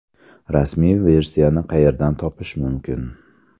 Rasmiy versiyani qayerdan topish mumkin?